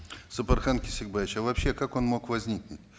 сапархан кесикбаевич а вообще как он мог возникнуть